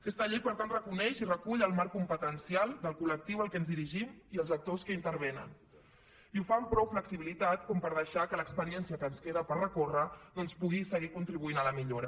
aquesta llei per tant reconeix i recull el marc competencial del col·lectiu a què ens dirigim i els actors que hi intervenen i ho fa amb prou flexibilitat per deixar que l’experiència que ens queda per recórrer doncs pugui seguir contribuint a la millora